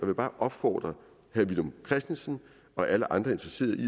vil bare opfordre herre villum christensen og alle andre interesserede